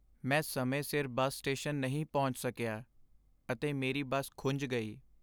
ਮੈਂ ਸਮੇਂ ਸਿਰ ਬੱਸ ਸਟੇਸ਼ਨ ਨਹੀਂ ਪਹੁੰਚ ਸਕਿਆ ਅਤੇ ਮੇਰੀ ਬੱਸ ਖੁੰਝ ਗਈ।